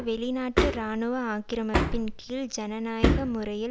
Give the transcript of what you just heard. வெளிநாட்டு இராணுவ ஆக்கிரமிப்பின் கீழ் ஜனநாயக முறையில்